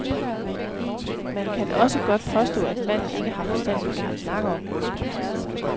Man kan også godt påstå, at manden ikke har forstand på det, han snakker om.